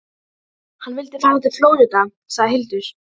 Hann vildi fara til Flórída, sagði Hildur.